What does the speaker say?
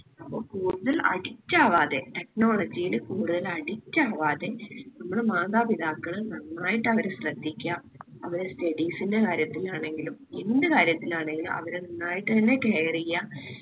അപ്പൊ കൂടുതൽ addict ആവാതെ technology ല് കൂടുതല് addict ആവാതെ നമ്മള് മാതാപിതാക്കള് നന്നായിട്ടവരെ ശ്രദ്ധിക്കാ അവരെ studies ന്റെ കാര്യത്തിനാണെങ്കിലും എന്ത് കാര്യത്തിലാണെങ്കിലും അവരെ നന്നായിട്ട് തന്നെ care എയ്യ